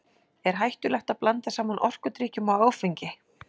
Er hættulegt að blanda saman orkudrykkjum og áfengi?